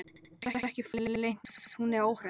Getur ekki farið leynt með að hún er óhress.